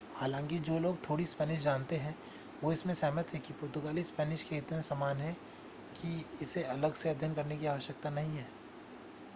हालांकि जो लोग थोड़ी स्पेनिश जानते हैं वे इससे सहमत हैं कि पुर्तगाली स्पेनिश के इतने समान है की इसे अलग से अध्ययन करने की आवश्यकता नहीं है